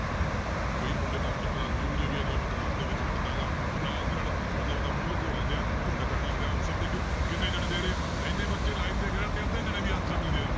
ਕਈ ਮੁੰਡੇ ਤਾਂ ਆਪਣੀ class 'ਚ ਇਹੋ ਜਿਹੇ ਵੀ ਆ ਜਦੋਂ ਮੈਂ class ਦੇ ਵਿੱਚ ਵੜਦਾ ਗਾਂ ਉਹ ਨਾਲ ਦੀ ਨਾਲ ਮਤਲਬ ਆਪਦਾ ਮੂੰਹ ਲੁਕੋ ਲੈਂਦੇ ਆ ਘੁੰਡ ਕੱਢ ਲੈਂਦੇ ਆ answer ਦੇਖ ਲਓ ਕਿੰਨੇ ਜਾਣੇ ਦੇ ਰਹੇ ਆ, ਇੰਨੇ ਬੱਚੇ live ਦੇਖ ਰਹੇ ਹੈ ਤੇ ਅੱਧੇ ਜਾਣੇ ਵੀ answer ਨਹੀਂ ਦੇ,